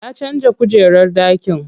Ya canza kujerar ɗakin.